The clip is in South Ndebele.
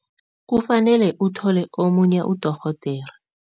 Kufanele uthole omunye udorhodere.